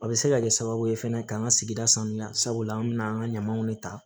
A bɛ se ka kɛ sababu ye fɛnɛ k'an ka sigida sanuya sabula an bɛ n'an ka ɲamanw de ta